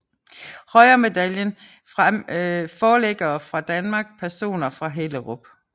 Høyen Medaljen Forlæggere fra Danmark Personer fra Hellerup